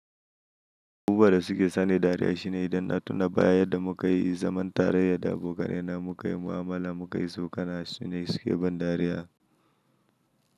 Abubuwan da suke sani dariya shine idan na tuna baya yadda muka yi zaman taraya da abokanai na muka yi mu’amala, muka yi tsokana su ne suke ban dariya.